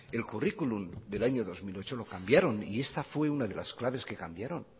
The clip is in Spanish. el currículum del año dos mil ocho lo cambiaron y esta fue una de las claves que cambiaron